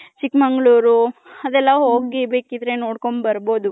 ಚಿಕ್ ಮಂಗಳೊರು ಅದೆಲ್ಲ ಹೋಗಿ ಬೇಕಿದ್ರೆ ನೋಡ್ಕಂಡ್ ಬರ್ಬೌದು .